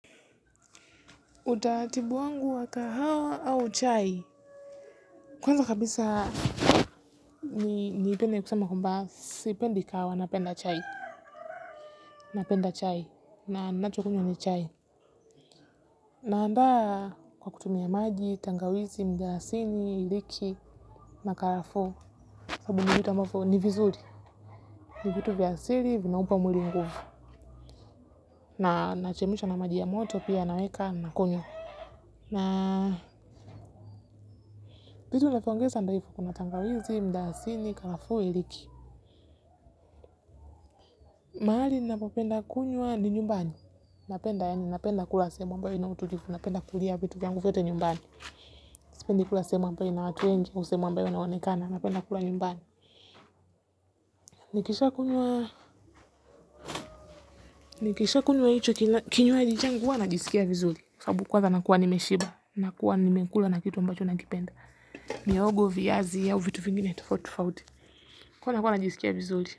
Utaratibu wangu wa kahawa au chai kwanza kabisa niipende kusema kwambaa sipendi kahawa napenda chai napenda chai na ninachokunywa ni chai naandaa kwa kutumia maji tangawizi mdalasini iliki na karafuu sabu ni vitu ambavyo ni vizuri. Ni vitu vya asiri vinaupa mwili nguvu. Na nachemsha na maji ya moto pia naweka nakunywa na hizo nilivoongeza ndio hivyo kuna tangawizi mdalasini karafuu iliki. Mahali ninapopenda kunywa ni nyumbani. Napenda yaani napenda kula sehemu ambayo ina utulifu. Napenda kulia vitu vyangu vyote nyumbani sipend kula sehemu ambayo ina watu wengi au sehemu ambayo inaonekana napenda kula nyumbani nikishakunywa nikishakunywa hicho kinywaji changu huwa najisikia vizuli. Sabu kwanza nakuwa nimeshiba. Nakua nimekula na kitu ambacho nakipenda mihogo viazi au vitu vingine tofauti tofauti. Kwaio nakuwa najisikia vizuli.